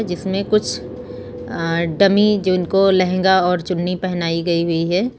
इसमें कुछ अ डमी जिनको को लहंगा और चुन्नी पहनाई गई हुई है।